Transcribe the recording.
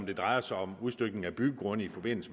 det drejer sig om udstykning af byggegrunde i